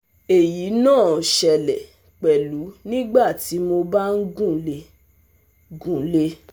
Èyí náà ṣẹlẹ̀ pẹ̀lú nígbà tí mo bá ń gunlé ń gunlé